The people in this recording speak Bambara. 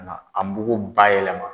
Nka a mugu bayɛlɛma.